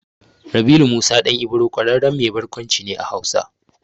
Rabilu Musa ɗan Ibro ƙwararren mai barkwanci ne a Hausa.